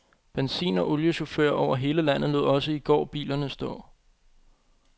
Benzin- og oliechauffører over hele landet lod også i går bilerne stå.